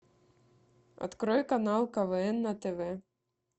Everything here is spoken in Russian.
открой канал квн на тв